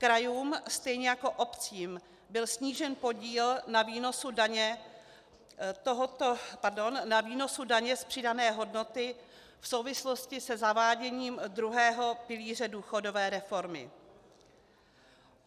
Krajům stejně jako obcím byl snížen podíl na výnosu daně z přidané hodnoty v souvislosti se zaváděním druhého pilíře důchodové reformy.